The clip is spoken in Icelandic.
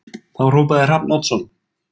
Þá hrópaði Hrafn Oddsson